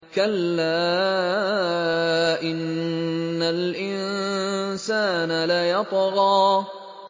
كَلَّا إِنَّ الْإِنسَانَ لَيَطْغَىٰ